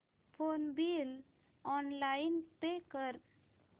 phone bill online pay कर